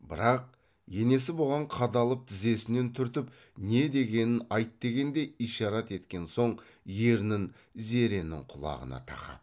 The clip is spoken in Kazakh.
бірақ енесі бұған қадалып тізесінен түртіп не дегенін айт дегендей ишарат еткен соң ернін зеренің құлағына тақап